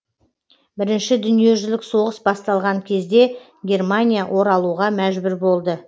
бірінші дүниежүзілік соғыс басталған кезде германия оралуға мәжбүр болды